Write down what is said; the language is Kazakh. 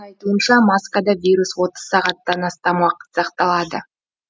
айтуынша маскада вирус отыз сағаттан астам уақыт сақталады